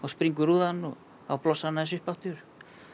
springur rúðan og þá blossaði hann aðeins upp aftur